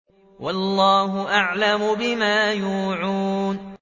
وَاللَّهُ أَعْلَمُ بِمَا يُوعُونَ